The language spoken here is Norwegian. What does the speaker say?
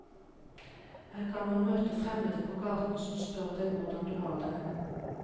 Her kan man møte fremmende på gaten som spør deg hvordan du har det.